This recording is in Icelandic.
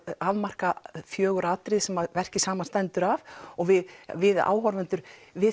afmarka fjögur atriði sem verkið samanstendur af og við við áhorfendur